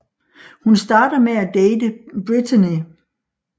Hun starter med at date Brittany